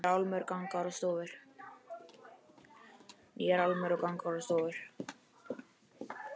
Nýjar álmur, gangar og stofur.